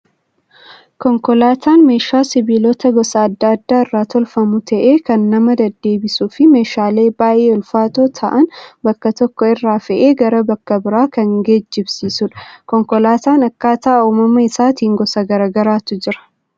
Konkolaataan meeshaa sibiilota gosa addaa addaa irraa tolfamuu ta'ee kan nama deddeebisuu fi meeshaalee baayyee ulfaatoo ta'an bakka tokko irraa fe'ee gara biraa kan geejibsiisudha. Konkolaataan akkaataa uumama isaaniitiin gosa garaagaraatu jiru.